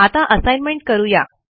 आता असाइनमेंट करू या